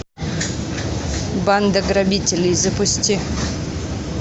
банда грабителей запусти